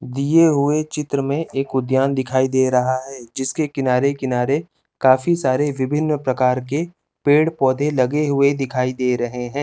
दिये वोही चित्र में एक उद्यान दिखाई दे रहा है है जिसके किनार किनारे काफी सारे विभिन्न प्रकार के पेड़ पोधे लगे हुए दिखाई दे रहे है।